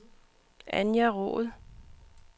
Anja Roed